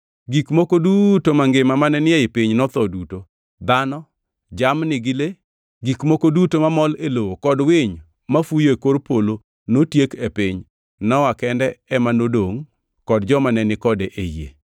Gik moko duto mangima mane ni e piny notho duto; dhano, jamni gi le, gik moko duto mamol e lowo kod winy mafuyo e kor polo notiek e piny. Nowa kende ema nodongʼ kod joma ne ni kode e yie.